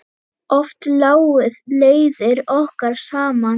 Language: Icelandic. Oft lágu leiðir okkar saman.